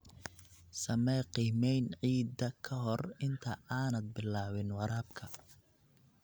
Samee qiimayn ciidda ka hor inta aanad bilaabin waraabka.